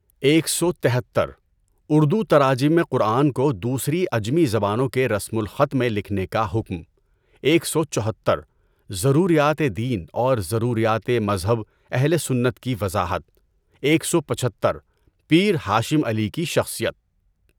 ایک سو تہتر: اردو تراجم قرآن کو دوسری عجمی زبانوں کے رسم الخط میں لکھنے کا حکم؛ ایک سو چوہتر: ضروریات دین اور ضروریات مذہب اہل سنت کی وضاحت؛ ایک سو پچھتر: پیر ہاشم علی کی شخصیت